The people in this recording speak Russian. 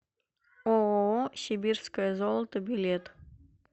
ооо сибирское золото билет